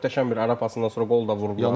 Möhtəşəm bir ərə pasından sonra qol da vurdular.